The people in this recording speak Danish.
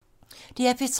DR P3